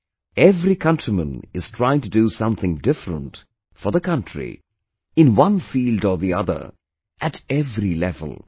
Today every countryman is trying to do something different for the country in one field or the other, at every level